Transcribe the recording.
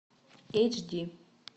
эйч ди